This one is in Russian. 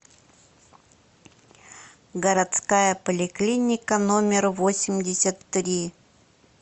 городская поликлиника номер восемьдесят три